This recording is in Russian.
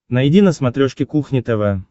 найди на смотрешке кухня тв